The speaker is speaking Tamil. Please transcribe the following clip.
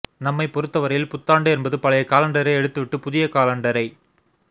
நம்மைப் பொறுத்தவரையில் புத்தாண்டு என்பது பழைய காலண்டரை எடுத்துவிட்டுப் புதிய காலண்டரை